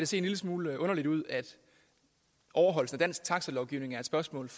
se en lille smule underligt ud at overholdelsen af dansk taxalovgivning er et spørgsmål